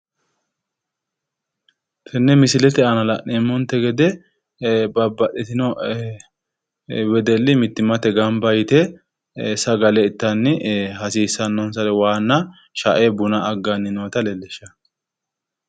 Tenne misilete aana la'neemmonte gede babbaxxitino wedelli mittimmatenni gamba yite sagale ittanni hasiisannonsare waanna shae buna aggannota leellishshanno